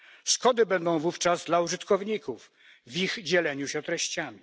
Szkody będą wówczas dla użytkowników w ich dzieleniu się treściami.